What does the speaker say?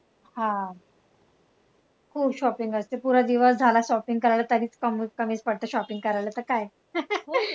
हा, खूप shopping असते पुरा दिवस झाला shopping करायला तरी कमीच पडते shopping करायला तर काय